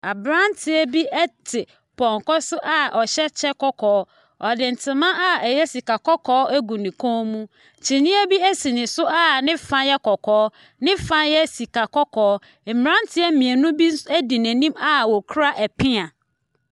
Nkrɔfoɔ bi te ɛhyɛn bi a ɛnam lɔɔre kwan mu a n'ahosuo no yɛ akokɔsradeɛ. Nnua bebree sisi hɔ. Ebi nso kura gallon a n'ahosuo no yɛ akokɔsradeɛ.